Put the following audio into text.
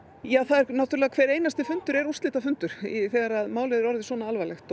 það er náttúrulega hver einasti fundur úrslitafundur þegar málið er orðið svona alvarlegt